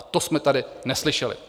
A to jsme tady neslyšeli.